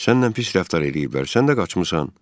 Səninlə pis rəftar eləyiblər, sən də qaçmısan.